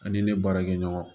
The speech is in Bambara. Ani ne baarakɛ ɲɔgɔnw